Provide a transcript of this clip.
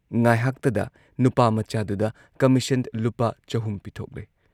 ꯉꯥꯢꯍꯥꯛꯇꯗ ꯅꯨꯄꯥꯃꯆꯥꯗꯨꯗ ꯀꯃꯤꯁꯟ ꯂꯨꯄꯥ ꯆꯍꯨꯝ ꯄꯤꯊꯣꯛꯂꯦ ꯫